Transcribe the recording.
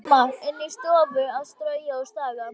Mamma inni í stofu að strauja og staga.